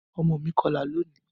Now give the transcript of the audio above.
Ọmọ mi kọla loni